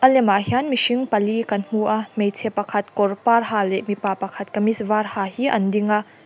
lemah hian mihring pali kan hmu a hmeichhe pakhat kawr par ha leh mipa pakhat kamis var ha hi an ding a.